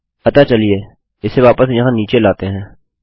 अतः चलिए इसे वापस यहाँ नीचे लाते हैं